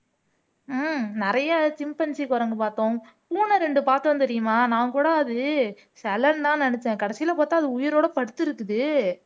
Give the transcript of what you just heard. உம் நிறைய சிம்பன்சி குரங்கு பார்த்தோம் பூனை ரெண்டு பார்த்தோம் தெரியுமா நான் கூட அது சிலைன்னுதான் நினைச்சேன் கடைசியிலே பார்த்தா அது உயிரோட படுத்து இருக்குது